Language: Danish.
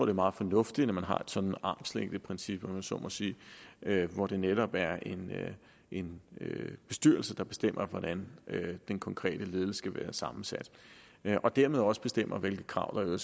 er meget fornuftigt at man har et sådan armslængdeprincip om jeg så må sige hvor det netop er en bestyrelse der bestemmer hvordan den konkrete ledelse skal være sammensat og dermed også bestemmer hvilke krav banken